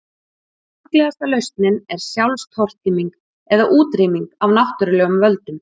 Sorglegasta lausnin er sjálfstortíming eða útrýming af náttúrulegum völdum.